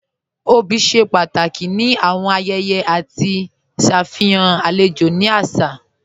Obì ṣe pàtàkì ni awọn ayẹyẹ àti ṣafihàn alẹjò ni àṣà.